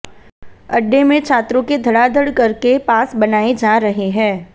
अड्डे में छात्रों के धड़ाधड़ करके पास बनाए जा रहे हैं